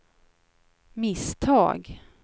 misstag